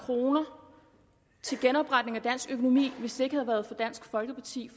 kroner til genopretning af dansk økonomi hvis det ikke havde været for dansk folkeparti